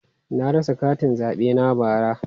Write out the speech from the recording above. Na rasa katin zabe na bara.